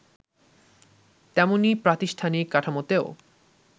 তেমনি প্রাতিষ্ঠানিক কাঠামোতেও